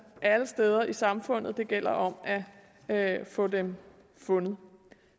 alle steder i samfundet og det gælder om at få dem fundet